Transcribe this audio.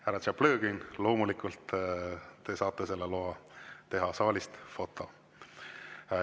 Härra Tšaplõgin, loomulikult te saate loa teha saalist foto.